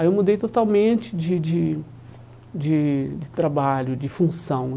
Aí eu mudei totalmente de de de de trabalho, de função.